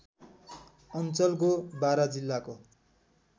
अञ्चलको बारा जिल्लाको